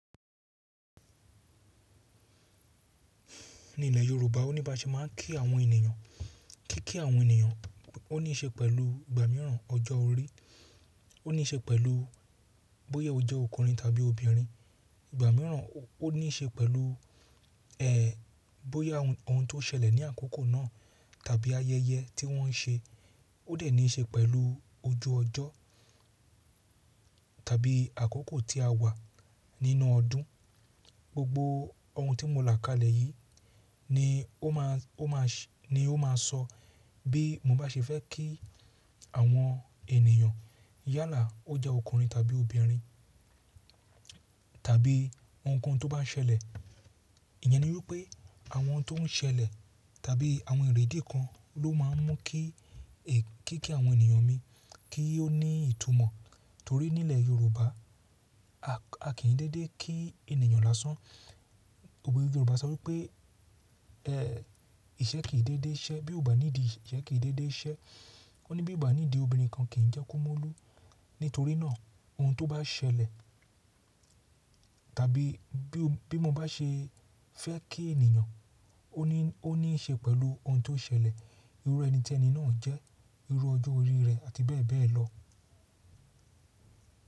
Ní ilẹ̀ Yorùbá, ó ní bá ṣe máa kí àwọn ènìyàn, kí kí àwọn ènìyàn, ó ní í ṣe pẹ̀lú ìgbà mìíràn ọjọ́ orí, ó ní í ṣe pẹ̀lú bóyé ó jẹ́ ọkùnrin tàbí obìnrin. Ìgbà mìíràn ó ní í ṣe pẹ̀lú, ẹ́, bóyá ohun tó ṣẹlẹ̀ ní àkókò náà tàbí ayẹyẹ tí wọ́n ṣe, ó dẹ̀ ní í ṣe pẹ̀lú ojú ọjọ́ tàbí àkókò tí a wà nínú ọdún. Gbogbo ohun tí mo là kalẹ̀ yìí ni ó máa, ó maa ṣ, ni ó máa sọ bí mo bá ṣe fẹ́ kí àwọn ènìyàn yálà ó jẹ́ ọkùnrin tàbí obìnrin tàbí ohunkóhun tó bá ṣẹlẹ̀. Ìyẹn ni wípé àwọn tó ń ṣẹlẹ̀ tàbí àwọn ìrédé kan ló máa ń mú kí, kí kí àwọn ènìyàn mi kí ó ní ìtumọ̀. Torí nílẹ̀ Yorùbá a kì í dédé kí ènìyàn lásán. Òwe Yorùbá sọ wípé, ẹ́, iṣẹ́ kì í dédé iṣẹ́. Bí o ò bá ní di ìṣe, iṣẹ́ kì í dédé iṣẹ́. Ó ní bí o ò bá ní di obìnrin kan kì í jẹ́ ku mólu. Nítorí náà ohun tó bá ṣẹlẹ̀ tàbí bí mo bá ṣe fẹ́ kí ènìyàn, ó ní, ó ní í ṣe pẹ̀lú ohun tó ṣẹlẹ̀. Irú ẹni tẹ ni náà jẹ́ irú ọjọ́ orí rẹ̀ àti bẹ́ẹ̀ bẹ́ẹ̀ lọ.